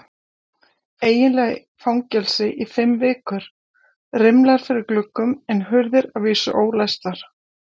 Eiginlega fangelsi í fimm vikur, rimlar fyrir gluggum en hurðir að vísu ólæstar.